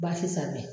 Baasi sanfɛ